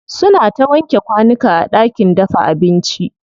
Suna ta wanke kwanuka a ɗakin dafa abinci.